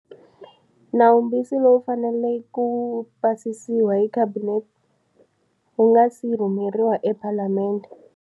Nawumbisi lowu fanele ku pasisiwa hi Khabinete wu nga si rhumeriwa ePalamende.